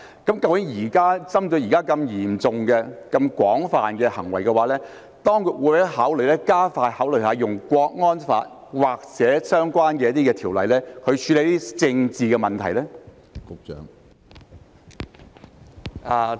究竟針對現時如此嚴重和廣泛的行為，當局會否加快考慮引用《香港國安法》或相關條例處理這些政治問題呢？